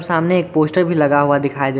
सामने एक पोस्टर भी लगा हुआ दिखाई दे--